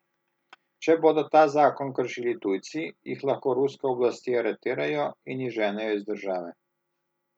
Če bodo ta zakon kršili tujci, jih lahko ruske oblasti aretirajo in izženejo iz države.